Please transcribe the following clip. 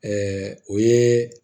o ye